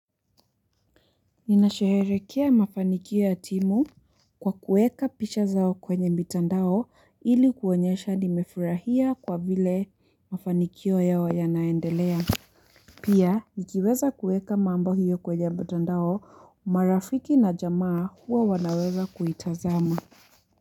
Ninasherehekea mafanikio ya timu, kwa kuweka picha zao kwenye mitandao, ili kuonyesha nimefurahia kwa vile mafanikio yao yanaendelea. Pia, nikiweza kuweka mambo hiyo kwenye mtandao, marafiki na jamaa huwa wanaweza kuitazama.